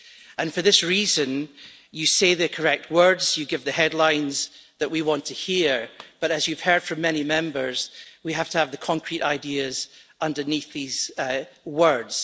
And for this reason, you are saying the correct words, giving the headlines that we want to hear, but, as you've heard from many Members, we need to have the concrete ideas underneath the words.